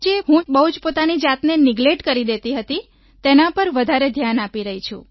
જે હું બહુ જ પોતાની જાતને નેગ્લેક્ટ કરી દેતી હતી તેના પર વધારે ધ્યાન આપી રહી છું